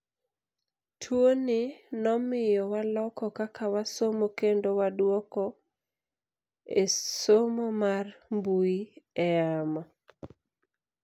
Tuo ni nomiyo waloko kaka wasomo kendo waduoko esomo mar mbui e yamo.